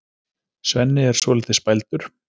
Svenni er svolítið spældur.